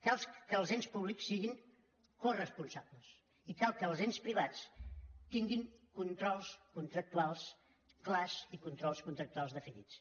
cal que els ens públics siguin coresponsables i cal que els ens privats tinguin controls contractuals clars i controls contractuals definits